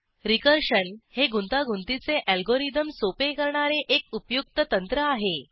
recursion हे गुंतागुंतीचे algorithm सोपे करणारे एक उपयुक्त तंत्र आहे